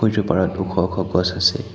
সিটো পাৰত ওখ ওখ গছ আছে।